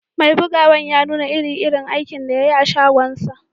Mai buguwan ya nuna iri-irin aikin da ya yi a'shagon shi.